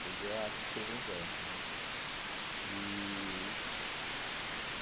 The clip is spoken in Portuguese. Poesia é a arte de escrever em versos né e.